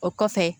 O kɔfɛ